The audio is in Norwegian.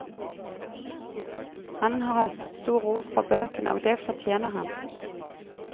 Han har høstet stor ros for bøkene, og det fortjener han.